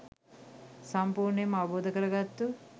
සම්පූර්ණයෙන්ම අවබෝධ කරගත්තු